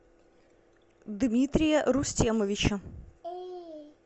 дмитрия рустемовича